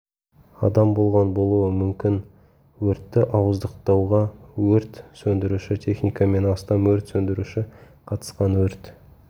адам болған болуы мүмкін өртті ауыздықтауға өрт сөндіруші техника мен астам өрт сөндіруші қатысқан өрт